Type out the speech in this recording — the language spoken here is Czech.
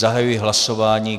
Zahajuji hlasování.